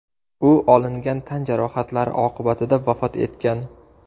U olingan tan jarohatlari oqibatida vafot etgan.